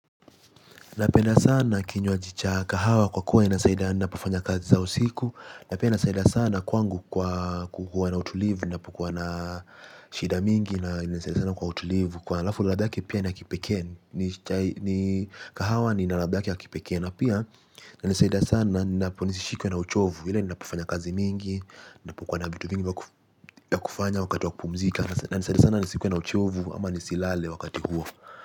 Napenda sana kinywaji cha kahawa kwa kuwa inasaidia na kufanya kazi zangu za usiku na pia inasaidia sana kwangu kwa kuwa na utulivu ninapokuwa na shida mingi. Na inanisaidia kwa utulivu, na ladha yake ni ya kipekee. Ni kahawa yenye ladha yake ya kipekee na pia inanisaidia sana ninaposhikwa na uchovu, hasa ninapofanya kazi nyingi. Ninapokuwa na vitu vingi vya kufanya wakati wa kupumzika, inanisaidia sana nisiwe na uchovu au nisilale wakati huo.